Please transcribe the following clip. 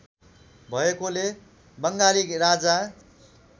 भएकोले बङ्गाली राजा